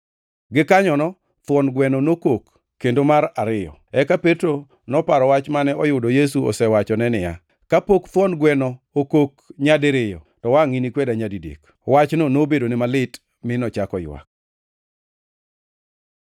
Gikanyono thuon gweno nokok kendo mar ariyo. Eka Petro noparo wach mane oyudo Yesu osewachone niya, “Kapok thuon gweno okok nyadiriyo to wangʼ inikweda nyadidek.” Wachno nobedone malit mi nochako ywak.